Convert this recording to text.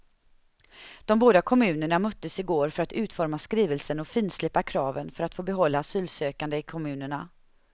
De båda kommunerna möttes i går för att utforma skrivelsen och finslipa kraven för att få behålla asylsökande i kommunerna.